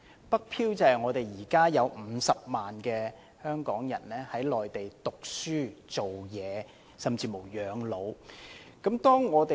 "北漂"是指現時有50萬名香港人在內地讀書、工作甚至養老。